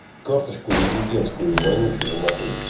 карточку резидентскую вонючую нахуй